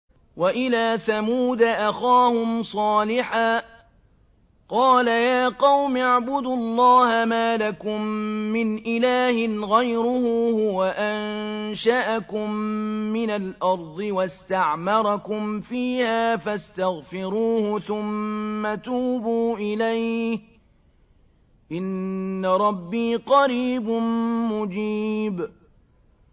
۞ وَإِلَىٰ ثَمُودَ أَخَاهُمْ صَالِحًا ۚ قَالَ يَا قَوْمِ اعْبُدُوا اللَّهَ مَا لَكُم مِّنْ إِلَٰهٍ غَيْرُهُ ۖ هُوَ أَنشَأَكُم مِّنَ الْأَرْضِ وَاسْتَعْمَرَكُمْ فِيهَا فَاسْتَغْفِرُوهُ ثُمَّ تُوبُوا إِلَيْهِ ۚ إِنَّ رَبِّي قَرِيبٌ مُّجِيبٌ